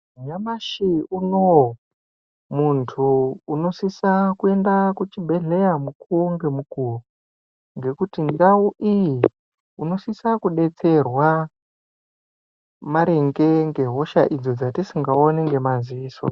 Nyamashi unoyu muntu unosisa kuenda kuchibhedhlera mukuwo ngemukuwo ngekuti ndau iyi unosisa kudetserwa maringe ngehosha idzi dzetisingaoni ngemadziso.